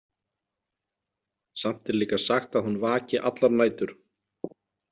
Samt er líka sagt að hún vaki allar nætur.